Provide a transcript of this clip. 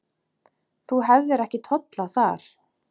Þú hefðir ekki tollað þar.